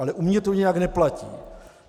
Ale u mě to nějak neplatí.